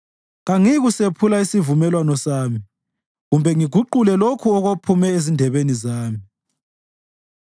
Kangiyikusephula isivumelwano sami kumbe ngiguqule lokho okuphume ezindebeni zami.